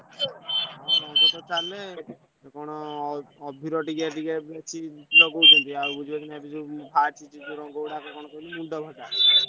ହଁ ରଙ୍ଗ ତ ଚାଲେ ଅଭୀର ଟିକେଟିକେ କଣ ଏଠି ଲଗାଉଛନ୍ତି ଏବେ ତ ବାହାରିଛି କଣ କହିଲୁ ମୁଣ୍ଡଫଟା।